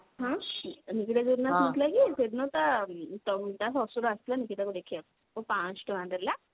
ହାଁ ନିକିତା ଯଉଦିନ ଆସିନଥିଲା କି ସେଦିନ ତା ମ ତା ଶଶୁର ଆସିଥିଲା ନିକିତା କୁ ଦେଖିବା ପାଇଁ ଆଉ ପାଞ୍ଚଶହ ଟଙ୍କା ଦେଲା